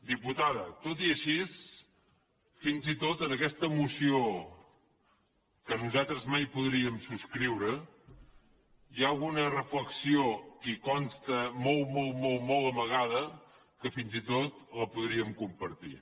diputada tot i així fins i tot en aquesta moció que nosaltres mai podríem subscriure hi ha alguna reflexió que hi consta molt molt molt amagada que fins i tot la podríem compartir